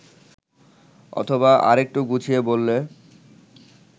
অথবা আরেকটু গুছিয়ে বললে